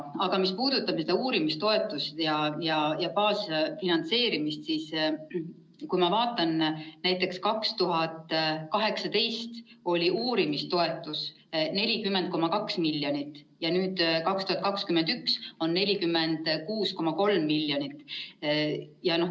Aga mis puudutab uurimistoetusi ja baasfinantseerimist, siis ma vaatan, et näiteks 2018 oli uurimistoetuste summa 40,2 miljonit ja nüüd, 2021, on see 46,3 miljonit.